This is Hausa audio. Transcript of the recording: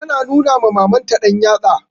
Tana nuna ma Mamanta ɗanyatsa.